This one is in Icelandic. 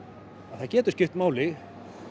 það getur skipt máli